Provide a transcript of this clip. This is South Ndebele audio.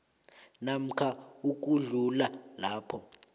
namkha ukudlula lapho